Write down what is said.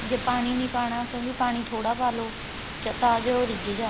ਜੇ ਪਾਣੀ ਨੀਂ ਪਾਣਾ ਕਿਉਂਕਿ ਪਾਣੀ ਥੋੜਾ ਪਾ ਲੋ ਤਾਂ ਜੋ ਰਿਜ ਜਾਣ